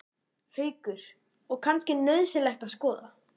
Haukur: Og kannski nauðsynlegt að skoða?